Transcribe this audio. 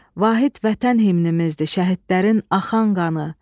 Vahid Vətən himnimizdir, şəhidlərin axan qanı.